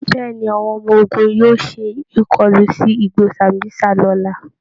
Bẹ́ẹ̀ ni, àwọn ọmọ ogun yóò ṣe ìkọlu sí igbó Sambísa lọ́la